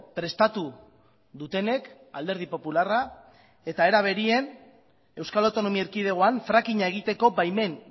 prestatu dutenek alderdi popularra eta era berean euskal autonomia erkidegoan frackinga egiteko baimen